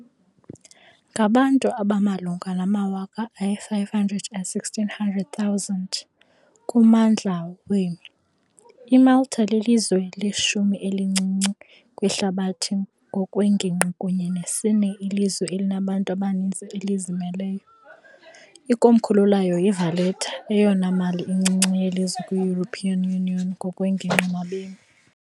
Ngabantu abamalunga nama-516,000 kummandla wama- , iMalta lilizwe leshumi-elincinci kwihlabathi ngokwengingqi kunye nesine ilizwe elinabantu abaninzi elizimeleyo . Ikomkhulu layo yiValletta, eyona mali incinci yelizwe kwi- European Union ngokwengingqi nabemi.